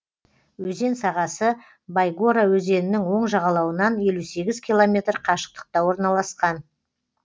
өзен сағасы байгора өзенінің оң жағалауынан елу сегіз километр қашықтықта орналасқан